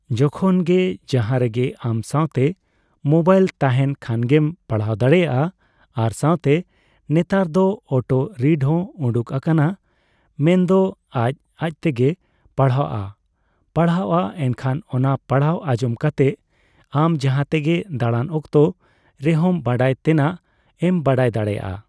ᱡᱚᱠᱷᱚᱱᱜᱮ ᱡᱟᱦᱟᱸ ᱨᱮᱜᱮ ᱟᱢ ᱥᱟᱣᱛᱮ ᱢᱚᱵᱟᱭᱤᱞ ᱛᱟᱦᱮᱱ ᱠᱷᱟᱱᱜᱤᱢ ᱯᱟᱲᱦᱟᱣ ᱫᱟᱲᱮᱭᱟᱜᱼᱟ ᱟᱨ ᱥᱟᱣᱛᱮ ᱱᱮᱛᱟᱨ ᱫᱚ ᱚᱴᱚ ᱨᱤᱰᱦᱚᱸ ᱩᱰᱩᱝ ᱟᱠᱟᱱᱟ ᱢᱮᱱᱫᱚ ᱟᱡ ᱟᱡᱛᱮᱜᱮ ᱯᱟᱲᱦᱟᱜᱼᱟ ᱯᱟᱲᱦᱟᱜᱼᱟ ᱮᱱᱠᱷᱟᱱ ᱚᱱᱟ ᱯᱟᱲᱦᱟᱣ ᱟᱸᱡᱚᱢ ᱠᱟᱛᱮᱜ ᱟᱢ ᱡᱟᱦᱟᱸᱛᱮᱜᱮ ᱫᱟᱲᱟᱱ ᱚᱠᱛᱚ ᱨᱮᱦᱚᱢ ᱵᱟᱲᱟᱭ ᱛᱮᱱᱟᱜ ᱮᱢ ᱵᱟᱲᱟᱭ ᱫᱟᱲᱮᱭᱟᱜᱼᱟ ᱾